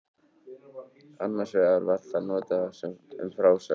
Annars vegar var það notað um frásögn, sagða eða skráða, sanna eða skáldaða.